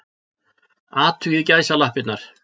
Athugið gæsalappirnar.